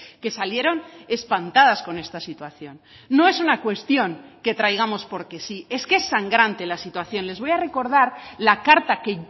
que salieron espantadas con esta situación no es una cuestión que traigamos porque sí es que es sangrante la situación les voy a recordar la carta que